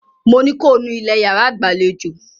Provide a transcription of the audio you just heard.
Mo ní ko nú ilẹ̀ yàrá ìgbàlejò!